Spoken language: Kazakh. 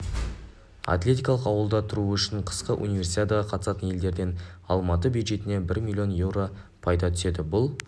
атлетикалық ауылда тұруы үшін қысқы универсиадаға қатысатын елдерден алматы бюджетіне бір миллион еуро пайда түседі бұл